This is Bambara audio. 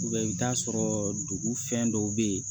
i bɛ t'a sɔrɔ dugu fɛn dɔw bɛ yen